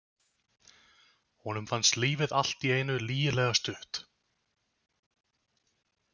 Honum fannst lífið allt í einu lygilega stutt.